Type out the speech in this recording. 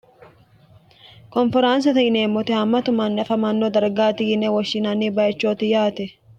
konferaansate yineemmote hammatu manni afamanno dargaati yine woshshinanni bayichooti yaate